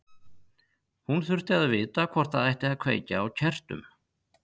Hún þurfti að vita hvort það ætti að kveikja á kertum.